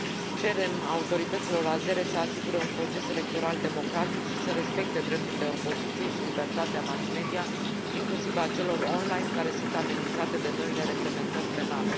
Cerem autorităților azere să asigure un proces electoral democratic și să respecte drepturile opoziției și libertatea mass media, inclusiv a celor online, care sunt amenințate de noile reglementări penale.